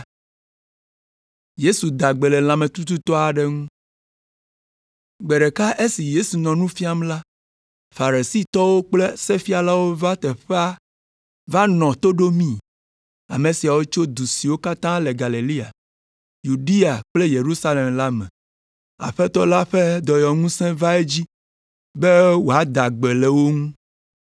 Gbe ɖeka esi Yesu nɔ nu fiam la, Farisitɔwo kple sefialawo va teƒea va nɔ to ɖomii. Ame siawo tso du siwo katã le Galilea, Yudea kple Yerusalem la me. Aƒetɔ la ƒe dɔyɔŋusẽ va edzi be wòada gbe le wo ŋu.